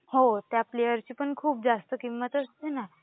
हो त्या प्लेयरची पण खूप जास्त किंमत राहते ना